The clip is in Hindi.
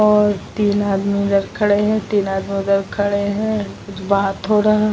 और तीन आदमी इधर खड़े हैं। तीन आदमी उधर खड़े हैं। कुछ बात हो रहा।